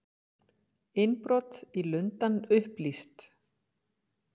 Innbrot í Lundann upplýst